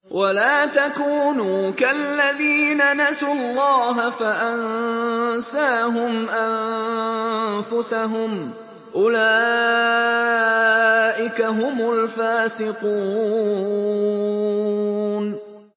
وَلَا تَكُونُوا كَالَّذِينَ نَسُوا اللَّهَ فَأَنسَاهُمْ أَنفُسَهُمْ ۚ أُولَٰئِكَ هُمُ الْفَاسِقُونَ